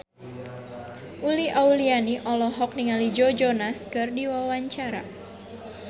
Uli Auliani olohok ningali Joe Jonas keur diwawancara